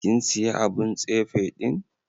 Kin siya abun tsefe din?